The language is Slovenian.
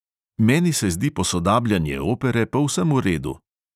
Meni se zdi posodabljanje opere povsem v redu.